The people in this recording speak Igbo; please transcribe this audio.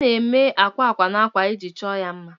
A na-eme akwa akwa na akwa iji chọọ ha mma